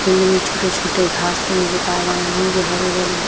Field मे छोटे-छोटे घास नजर आ रहे है जो हरे-भरे हैं।